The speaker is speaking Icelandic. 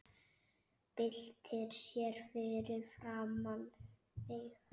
Byltir sér fyrir framan mig.